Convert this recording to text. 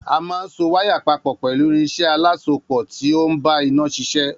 A máa ń so waya papò pẹ̀lú irinsé alásopò ti ó ń bá iná sişé